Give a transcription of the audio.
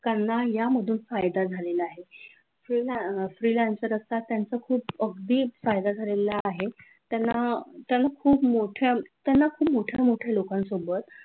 त्यांना यामधून फायदा झालेला आहे freelancer असतात त्यांचं खूप फायदा झालेला आहे त्यांना खूप मोठ्या त्यांना खूप मोठ्या मोठ्या लोकांसोबत